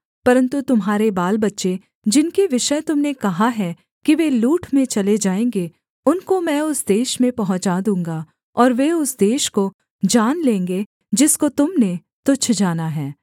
परन्तु तुम्हारे बालबच्चे जिनके विषय तुम ने कहा है कि वे लूट में चले जाएँगे उनको मैं उस देश में पहुँचा दूँगा और वे उस देश को जान लेंगे जिसको तुम ने तुच्छ जाना है